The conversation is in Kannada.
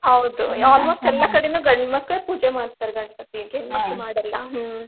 ಹೌದು ಕಡೆನು ಗಂಡ್ ಮಕ್ಳ ಪೂಜೆ ಮಾಡ್ತಾರ ಗಣಪತಿಗೆ ಮಾಡಲ್ಲ ಹ್ಮ್.